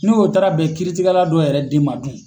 N' o taara bɛn kiiritikɛla dɔ yɛrɛ den ma dun.